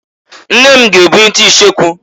Nne m g'ebunite icheku.